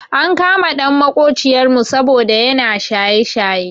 Ankama ɗan maƙociyar mu saboda yana shaye shaye.